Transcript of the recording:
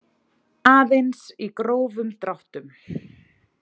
Aðeins í grófum dráttum.